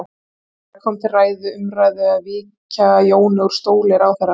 Fréttamaður: Kom til ræðu, umræðu að víkja Jóni úr stóli ráðherra?